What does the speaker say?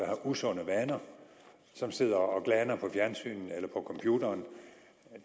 har usunde vaner som sidder og glaner foran fjernsynet eller computeren